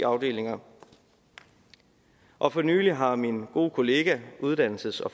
afdelinger og for nylig har min gode kollega uddannelses og